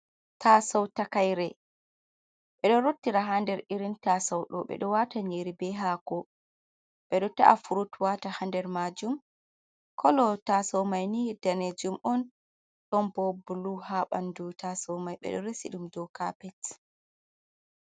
Taaso takaire ɓe ɗo rottira ha nder irin taaso ɗo ɓe ɗo wata nyeri be hasko ɓe ɗo ta’a furut wata ha nder majum kolo taaso mai ni danejum on don bo bulu ha bandu taaso mai ɓe ɗo resi ɗum dou kapet.